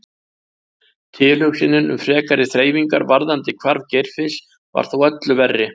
Tilhugsunin um frekari þreifingar varðandi hvarf Geirfinns var þó öllu verri.